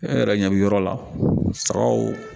E yɛrɛ ɲɛ bɛ yɔrɔ la sagaw